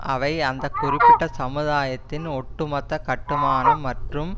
அவை அந்த குறிப்பிட்ட சமுதாயத்தின் ஒட்டுமொத்த கட்டுமானம் மற்றும்